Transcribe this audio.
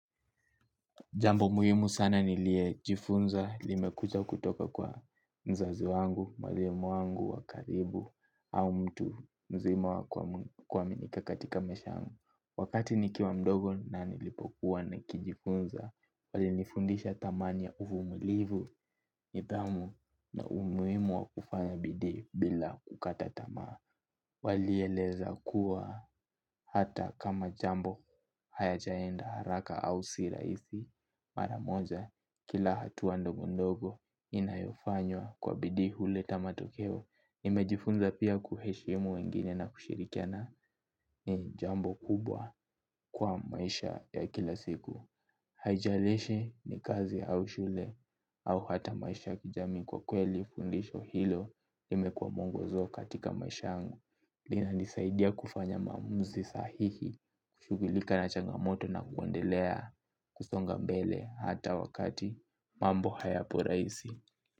Jambo muhimu sana niliyojifunza, limekuja kutoka kwa mzazi wangu, mwalimu wangu, wa karibu, au mtu mzima wa kuaminika katika maisha yangu. Wakati nikiwa mdogo na nilipokuwa nikijifunza, walinifundisha thamani ya uvumilivu, nidhamu na umuhimu wa kufanya bidii bila kukata tamaa. Walieleza kuwa hata kama jambo hayajaenda haraka au si rahisi mara moja kila hatua ndogo ndogo inayofanywa kwa bidii huleta matokeo. Nimejifunza pia kuheshimu wengine na kushirikiana ni jambo kubwa kwa maisha ya kila siku. Haijalishi ni kazi au shule au hata maisha ya kijamii kwa kweli fundisho hilo limekuwa mwongozo katika maisha yangu. Linanisaidia kufanya maamuzi sahihi kushugilika na changamoto na kuendelea kusonga mbele hata wakati mambo hayapo rahisi.